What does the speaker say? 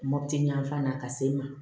Mɔputi yanfan fan na ka se ma